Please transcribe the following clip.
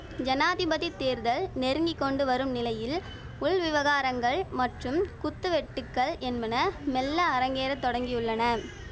ஜனாதிபதி தேர்தல் நெருங்கி கொண்டு வரும் நிலையில் உள் விவகாரங்கள் மற்றும் குத்து வெட்டுக்கள் என்பன மெல்ல அரங்கேற தொடங்கியுள்ளன